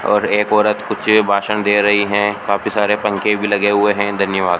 और एक औरत कुछ भाषण दे रही हैं काफी सारे पंखे भी लगे हुए हैं धन्यवाद।